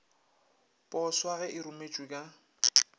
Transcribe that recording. poswa ge e rometšwe ka